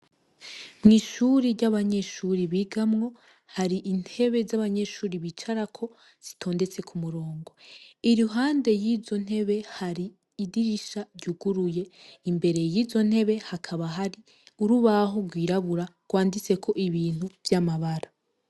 Mw’ishuri ry'abanyeshuri bigamwo hari intebe za banyeshuri bicarako zitondetse ku murongo iruhande yizo ntebe hari idirisha ryuguruye imbere yizo ntebe hakaba hari urubaho rwirabura rwanditseko ibintu vy'amabara.